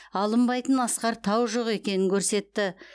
алынбайтын асқар тау жоқ екенін көрсетті